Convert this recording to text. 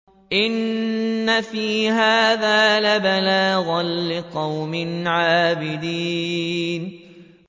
إِنَّ فِي هَٰذَا لَبَلَاغًا لِّقَوْمٍ عَابِدِينَ